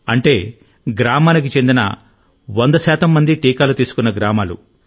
అంటే గ్రామానికి చెందిన 100 మంది టీకాలు తీసుకున్న గ్రామాలు